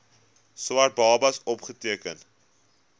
swart babas opgeteken